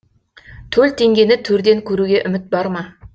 төл теңгені төрден көруге үміт бар ма